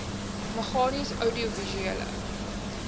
meganies oudiovisuele